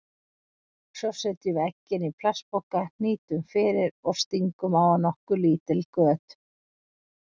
Svo setjum við eggin í plastpoka, hnýtum fyrir og stingum á hann nokkur lítil göt.